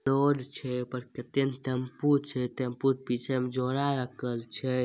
Road छै ओय पर कते ने टेंपू छै टेंपू के पीछे में झोला राखल छै।